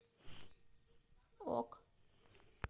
ок